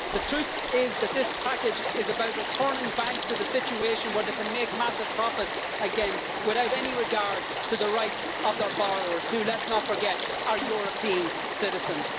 The truth is that this package is about returning banks to the situation where they can make massive profits again without any regard to the rights of borrowers who, let's not forget, are European citizens.